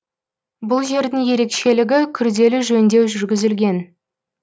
бұл жердің ерекшелігі күрделі жөндеу жүргізілген